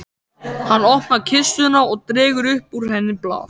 Hann opnar kistuna og dregur upp úr henni blað.